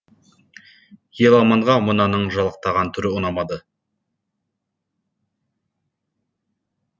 еламанға мынаның жалақтаған түрі ұнамады